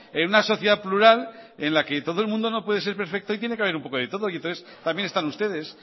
en una sociedad plural en la que todo el mundo no puede ser perfecto y tiene que haber un poco de todo y entonces también están ustedes